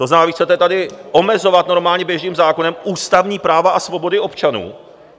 To znamená, vy chcete tady omezovat normálně běžným zákonem ústavní práva a svobody občanů.